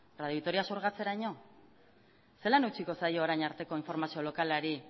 radio vitoria zurgatzeraino zelan utziko zaio orain arteko informazio lokalari